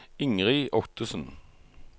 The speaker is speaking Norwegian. Ingrid Ottesen